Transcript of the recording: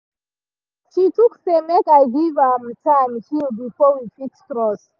she tok say make i give m time heal before we fix trust